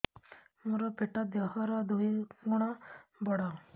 ମୋର ପେଟ ଦେହ ର ଦୁଇ ଗୁଣ ବଡ